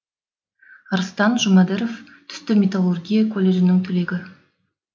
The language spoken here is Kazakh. арыстан жұмадіров түсті металлургия колледжінің түлегі